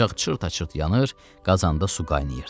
Ocaq çırt-çırt yanır, qazanda su qaynayırdı.